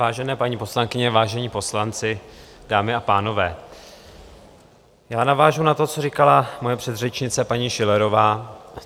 Vážené paní poslankyně, vážení poslanci, dámy a pánové, já navážu na to, co říkala moje předřečnice paní Schillerová.